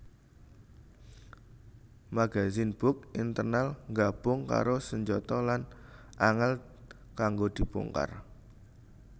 Magazen box internal nggabung karo senjata lan angel kanggo dibongkar